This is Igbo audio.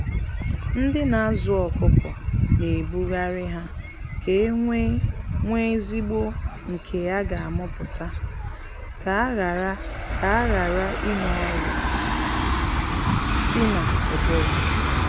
Ndị na azụ ọkụkọ na ebughari ha ka enwe nwe ezigbo nke a gha amụputa, ka aghara ka aghara ịnwe ọrịa sị na ụbụrụ.